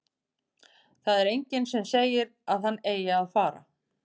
Það er enginn sem segir að hann eigi að fara.